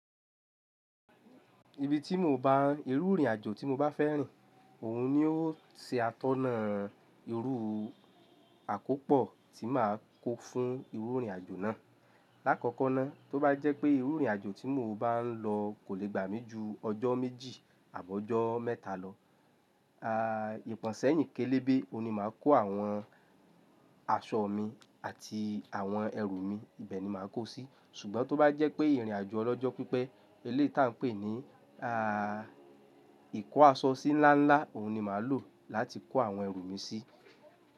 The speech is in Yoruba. Ibi tí mò ń bá ìrù ìrìnàjò tí mo bá fẹ́ rìn, ọ̀hún ni ó ṣe atọ́nà ìrù àkópọ̀ tí màá kó fún ìrù ìrìnàjò náà. Làkọ̀kọ̀ náà, tó bá jẹ́ pé iru ìrìnàjò tí mò ń bá lọ kò lè gbà mí ju ọjọ́ méjì àbi ọjọ́ mẹ́ta lọ, à ìpọ̀nsẹ́yìn kélébè ọ̀hún ni màá kó àwọn aṣọ mi àti àwọn ẹrù mi, ibẹ̀ ni màá kó si sí. Ṣùgbọ́n tó bá jẹ́ pé ìrìnàjò ọlọ́jọ́ pípẹ́, eleyii tá ń pè ní à ìkó aṣọ sí ńlá ńlá, ọ̀hún ni màá lò láti kó àwọn ẹrù mi sí.